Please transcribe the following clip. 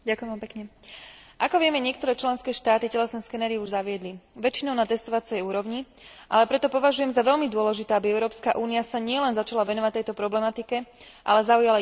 Ako vieme, niektoré členské štáty telesné skenery už zaviedli, väčšinou na testovacej úrovni, ale preto považujem za veľmi dôležité, aby Európska únia sa nielen začala venovať tejto problematike, ale zaujala jednotný postoj.